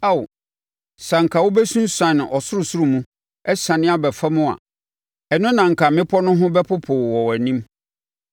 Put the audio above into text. Ao, sɛ anka wobɛsunsuane ɔsorosoro mu, asiane aba fam a, ɛno na anka mmepɔ no ho bɛpopo wɔ wʼanim!